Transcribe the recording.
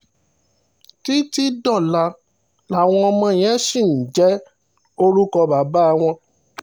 títí dọ́là làwọn ọmọ yẹn ṣì ń jẹ́ orúkọ bàbá wọn